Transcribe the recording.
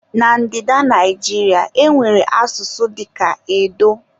Na Ndida Naijiria, e nwere asụsụ dịka edo.